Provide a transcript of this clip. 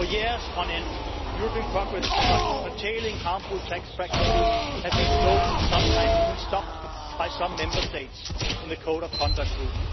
For years on end, European progress on curtailing harmful tax practices was slowed and sometimes even stopped by some Member States in the Code of Conduct Group.